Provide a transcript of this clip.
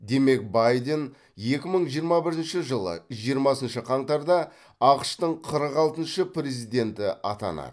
демек байден екі мың жиырма бірінші жылы жиырмасыншы қаңтарда ақш тың қырық алтыншы президенті атанады